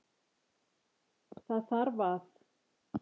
Það þarf að.